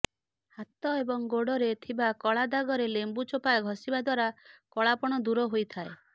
ହାତ ଏବଂ ଗୋଡରେ ଥିବା କଳା ଦାଗରେ ଲେମ୍ବୁ ଚୋପା ଘଷିବା ଦ୍ବାରା କଳାପଣ ଦୂର ହୋଇଥାଏ